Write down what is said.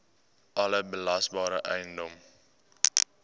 alle belasbare eiendom